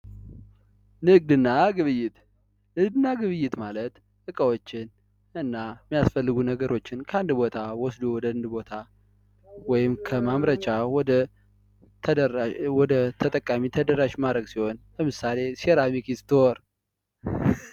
ንግድና ግብይት፤ ንግድና ግብይት ማለት እቃዎችን እና የሚያስፈልጉ ነገሮችን ከአንድ ቦታ ወስዶ ወደ አንድ ቦታ ወይም ከማምረቻ ወደ ተጠቃሚ ተደራሽ ማረግ ሲሆን ለምሳሌ፦ ሴራሚ ክርስቶር።